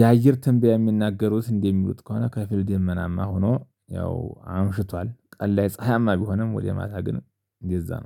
የአየር ትንቢያ የሚናገሩት እንዴ? የሚሉት ከሆነ ከፊል ደመናማ ሆኖ ያው አምሽቷል። ቀን ላይ ፀሀያማ ቢሆንም ወደ ማታ ግን እንደዛ ነው